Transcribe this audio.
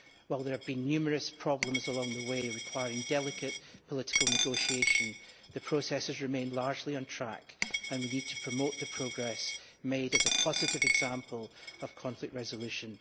While there have been numerous problems along the way requiring delicate political negotiation, the processes remain largely on track and we need to promote the progress made as a positive example of conflict resolution.